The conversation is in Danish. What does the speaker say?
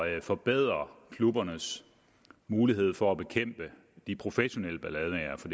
at forbedre klubbernes mulighed for at bekæmpe de professionelle ballademagere for